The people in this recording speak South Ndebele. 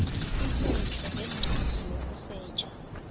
isetjho ngencwadi yokusetjha